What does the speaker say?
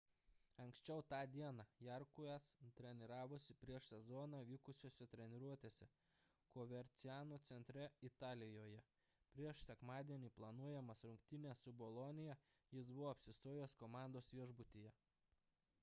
anksčiau tą dieną jarque'as treniravosi prieš sezoną vykusiose treniruotėse coverciano centre italijoje prieš sekmadienį planuojamas rungtynes su bolonija jis buvo apsistojęs komandos viešbutyje